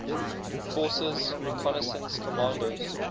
forces reconnaissance commandos